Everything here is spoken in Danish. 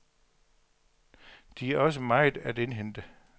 De har også meget at indhente.